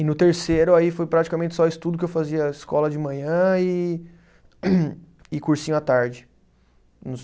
E no terceiro aí foi praticamente só estudo que eu fazia escola de manhã e cursinho à tarde nos.